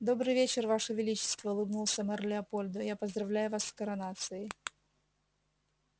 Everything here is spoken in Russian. добрый вечер ваше величество улыбнулся мэр леопольду я поздравляю вас с коронацией